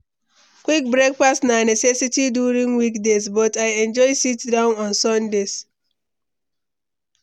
Quick breakfast na necessity during weekdays, but I enjoy sit-down on Sundays.